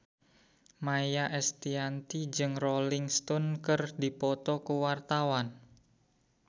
Maia Estianty jeung Rolling Stone keur dipoto ku wartawan